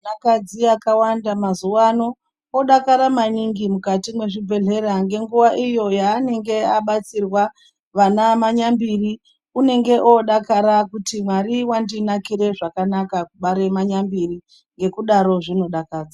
Vakadzi vakawanda mazuvano vodakara maningi mukati mezvibhedhlera ngenguwa iyo yaanenge abatsirwa ana manyambiri. Unenge wodakara kuti Mwari wandiakire zvakanaka, kubare manyambiri, ngekudaro zvinodakadza.